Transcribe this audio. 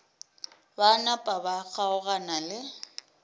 ba napa ba kgaogana le